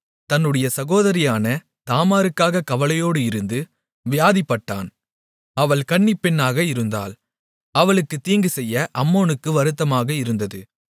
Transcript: தன்னுடைய சகோதரியான தாமாருக்காக கவலையோடு இருந்து வியாதிப்பட்டான் அவள் கன்னிப்பெண்ணாக இருந்தாள் அவளுக்குத் தீங்குசெய்ய அம்னோனுக்கு வருத்தமாக இருந்தது